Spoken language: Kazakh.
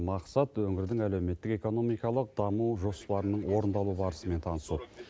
мақсат өңірдің әлеуметтік экономикалық даму жоспарының орындалу барысымен танысу